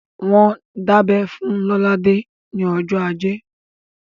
Wọ́n dábẹ́ fún Lolade ní ọjọ́ ajé